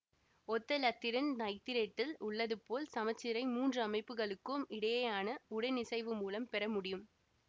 ஒத்த இலத்திரன் நைத்திரேட்டில் உள்ளது போல் சமச்சீரை மூன்று அமைப்புகளுக்கும் இடையேயான உடனிசைவு மூலம் பெறமுடியும்